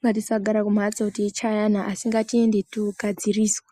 ngatisagara kumhatso teichayana asi ngatiende toogadziriswa .